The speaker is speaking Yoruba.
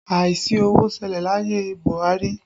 Àìsí owó ṣẹlẹ̀ láyé Buhari